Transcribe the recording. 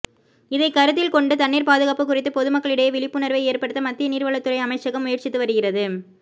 இதைக் கருத்தில் கொண்டு தண்ணீா் பாதுகாப்பு குறித்து பொதுமக்களிடையே விழிப்புணா்வை ஏற்படுத்த மத்திய நீா்வளத் துறை அமைச்சகம் முயற்சித்து வருகிறது